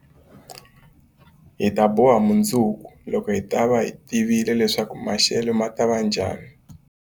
Hi ta boha mundzuku, loko hi ta va hi tivile leswaku maxelo ma ta va njhani.